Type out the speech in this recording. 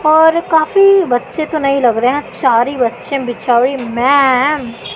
और काफी बच्चे तो नहीं लग रहे चार ही बच्चे बिचारी मैम --